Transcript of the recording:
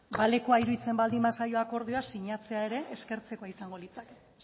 balekoa iruditzen baldin bazaio akordioa sinatzea ere eskertzekoa izango litzake